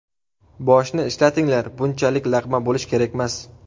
Boshni ishlatinglar, bunchalik laqma bo‘lish kerakmas.